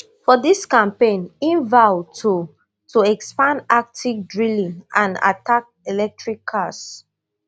for dis campaign im vow to to expand arctic drilling and attack electric cars